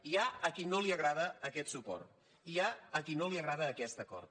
hi ha a qui no li agrada aquest suport hi ha a qui no li agrada aquest acord